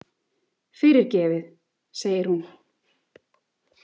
Fyrirgefið, segir hún.